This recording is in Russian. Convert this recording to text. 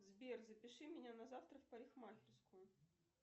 сбер запиши меня на завтра в парикмахерскую